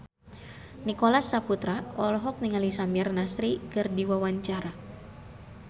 Nicholas Saputra olohok ningali Samir Nasri keur diwawancara